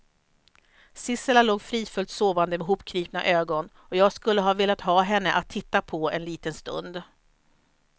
Sissela låg fridfullt sovande med hopknipna ögon, och jag skulle ha velat ha henne att titta på en liten stund.